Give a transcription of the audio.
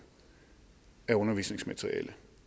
af undervisningsmateriale